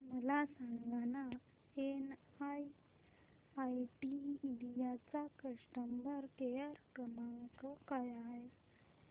मला सांगाना NIIT India चा कस्टमर केअर क्रमांक काय आहे